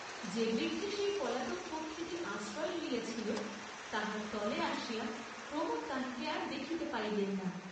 যে বৃক্ষে সেই পলাতক পক্ষীটি আশ্রয় লইয়াছিল তাহার তলে আসিয়া প্রমোদ তাহাকে আর দেখিতে পাইলেন না।